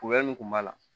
mun kun b'a la